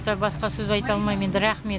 айтар басқа сөз айта алмаймын енді рақмет